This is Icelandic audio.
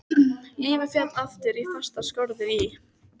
Lífið féll aftur í fastar skorður í